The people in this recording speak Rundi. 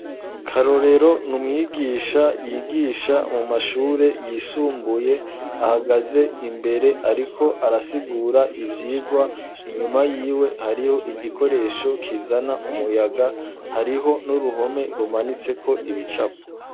Karorero n'umwigisha yigisha mu mashure yisumbuye ahagaze imbere ariko arasigura ivyigwa inyuma yiwe hariho igikoresho kizana umuyaga hariho n'uruhome rumanitseko ibicapo.